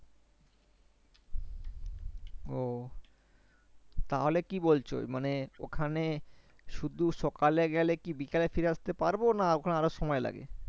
তাহলে কি বলছো মানে ওখানে শুধু সকালে গেলে কি বিকালে ফিরে আস্তে পারবো না ওখানে আরও সময়ে লাগে?